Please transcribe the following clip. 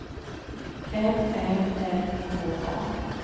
M Ä R K A